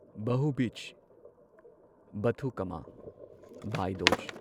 ꯚꯥꯎ ꯕꯤꯖ ꯕꯥꯊꯨꯀꯝꯃꯥ ꯚꯥꯢ ꯗꯨꯖ